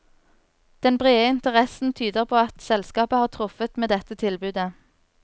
Den brede interessen tyder på at selskapet har truffet med dette tilbudet.